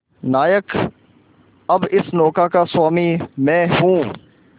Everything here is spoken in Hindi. नायक अब इस नौका का स्वामी मैं हूं